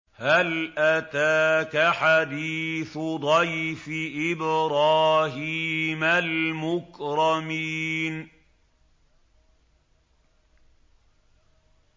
هَلْ أَتَاكَ حَدِيثُ ضَيْفِ إِبْرَاهِيمَ الْمُكْرَمِينَ